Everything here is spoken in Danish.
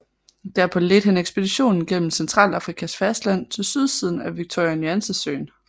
Derpå ledte han ekspeditionen gennem Centralafrikas fastland til sydsiden af Victoria Nyanza Søen